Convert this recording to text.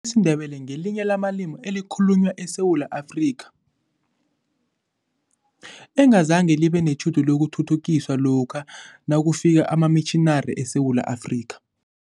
siNdebele ngelinye lamalimi ekhalunywa eSewula Afrika, engazange libe netjhudu lokuthuthukiswa lokha nakufika amamitjhinari eSewula Afrika.